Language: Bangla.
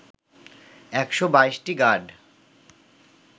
১২২টি গাড